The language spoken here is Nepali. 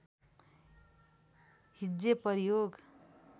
हिज्जे प्रयोग